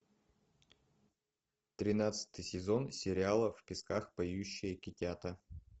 тринадцатый сезон сериала в песках поющие китята